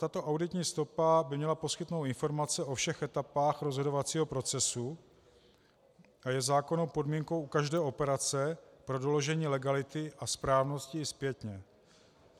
Tato auditní stopa by měla poskytnout informace o všech etapách rozhodovacího procesu a je zákonnou podmínkou u každé operace pro doložení legality a správnosti i zpětně.